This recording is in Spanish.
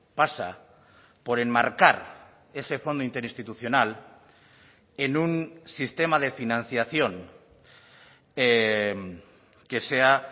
pasa por enmarcar ese fondo interinstitucional en un sistema de financiación que sea